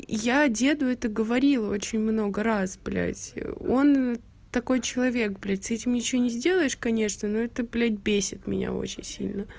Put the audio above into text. я деду это говорила очень много раз блядь он такой человек блядь с этим ничего не сделаешь конечно но это блядь бесит меня очень сильно